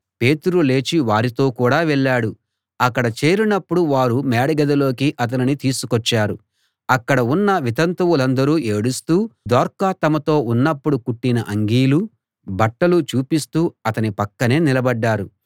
పేతురు లేచి వారితో కూడా వెళ్ళాడు అక్కడ చేరినప్పుడు వారు మేడగదిలోకి అతనిని తీసుకొచ్చారు అక్కడ ఉన్న వితంతువులందరూ ఏడుస్తూ దోర్కా తమతో ఉన్నప్పుడు కుట్టిన అంగీలు బట్టలు చూపిస్తూ అతని పక్కనే నిలబడ్డారు